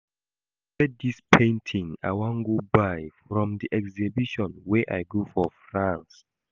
E get dis painting I wan buy from the exhibition wey I go for France